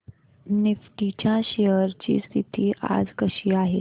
Nifty च्या shares ची स्थिती आज कशी आहे